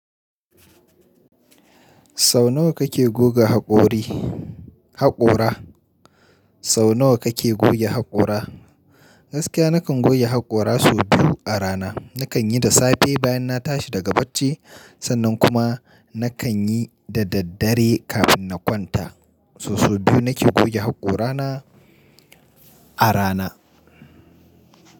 Sau nawa kake goga haƙori, haƙora? Sau nawa kake goge haƙora? Gaskiya na kan goge haƙora sau biyu a rana. Na kan yi da safe bayan na tashi daga bacci sannan kuma na kan yi da daddare kafin na kwanta. So sau biyu kake goge haƙora na a rana.